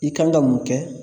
I kan ka mun kɛ